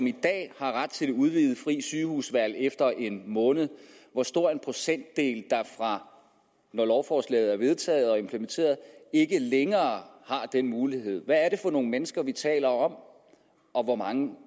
i dag har ret til det udvidede frie sygehusvalg efter en måned og hvor stor en procentdel der når lovforslaget er vedtaget og implementeret ikke længere har den mulighed hvad er det for nogle mennesker vi taler om og hvor mange